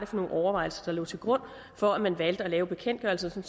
for nogle overvejelser der lå til grund for at man valgte at lave bekendtgørelsen